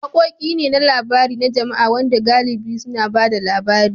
Waƙoƙi ne na labari na jama'a waɗanda galibi suna ba da labari.